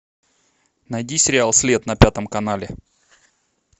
найди сериал след на пятом канале